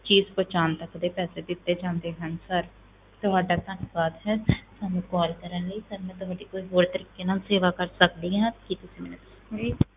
ਚੀਜ਼ ਪਹੁੰਚਾਉਣ ਤੱਕ ਦੇ ਪੈਸੇ ਦਿੱਤੇ ਜਾਂਦੇ ਹਨ sir ਤੁਹਾਡਾ ਧੰਨਵਾਦ ਹੈ ਸਾਨੂੰ call ਕਰਨ ਲਈ sir ਮੈਂ ਤੁਹਾਡੀ ਕੋਈ ਹੋਰ ਤਰੀਕੇ ਨਾਲ ਸੇਵਾ ਕਰ ਸਕਦੀ ਹਾਂ, ਕੀ ਤੁਸੀਂ ਮੈਨੂੰ ਦੱਸੋਂਗੇ?